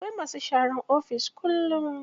Akwai masu sharan ofis kullum.